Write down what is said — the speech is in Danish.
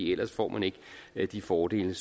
ellers får man ikke de fordele